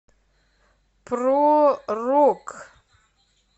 про рок